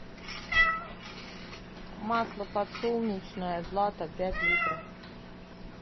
масло подсолнечное злато пять литров